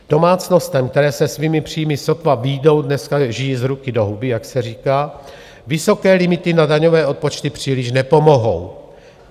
Domácnostem, které se svými příjmy sotva vyjdou, dneska žijí z ruky do huby, jak se říká, vysoké limity na daňové odpočty příliš nepomohou.